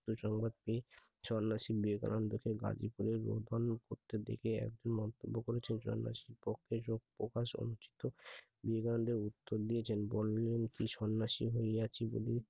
সংবাদটি সন্ন্যাসীদের গাজীপুরের করতে দেখে একজন মন্তব্য করেছেন সন্ন্যাসী বিবেকানন্দ উত্তর দিয়েছেন সন্ন্যাসী হইয়াছি বলে